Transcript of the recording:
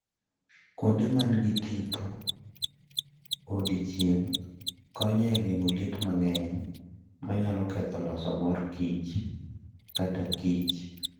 Kuonde ma nigi tipo e odiechieng' konyo e geng'o liet mang'eny, manyalo ketho loso mor kich kata kich.